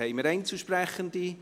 Haben wir Einzelsprechende?